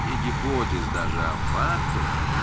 не гипотез даже а фактов